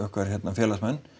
félagsmenn